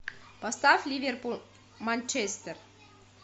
поставь ливерпуль манчестер